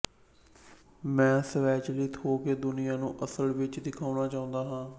ਮੈਂ ਸਵੈਚਲਿਤ ਹੋ ਕੇ ਦੁਨੀਆ ਨੂੰ ਅਸਲ ਵਿੱਚ ਦਿਖਾਉਣਾ ਚਾਹੁੰਦੀ ਹਾਂ